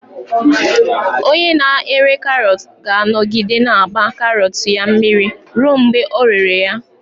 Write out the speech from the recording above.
Onye na-ere karọt ga-anọgide na-agba karọt ya mmiri ruo mgbe ọ rere ya.